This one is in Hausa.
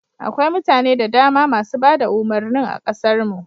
Akwai mutane da dama masu bada umurnin a kasar mu